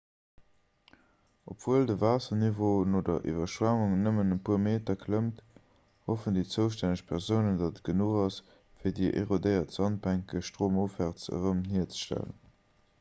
obwuel de waasserniveau no der iwwerschwemmung nëmmen e puer meter klëmmt hoffen déi zoustänneg persounen datt et genuch ass fir déi erodéiert sandbänke stroumofwäerts erëm hierzestellen